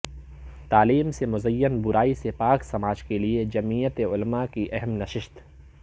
تعلیم سے مزین برائی سے پاک سماج کیلئے جمیعت علما کی اہم نشست